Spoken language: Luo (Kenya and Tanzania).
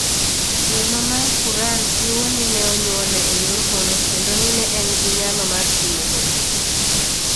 Muma mar Quran jiwo ni ne onyuole e yor hono kendo ni ne en gi nyalo mar timo honni.